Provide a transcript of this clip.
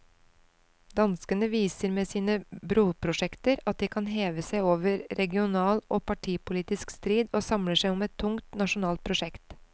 Danskene viser med sine broprosjekter at de kan heve seg over regional og partipolitisk strid og samle seg om et tungt nasjonalt prosjekt.